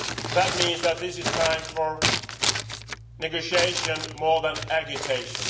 That means that this is time for negotiation more than agitation.